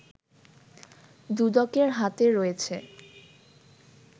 দুদকের হাতে রয়েছে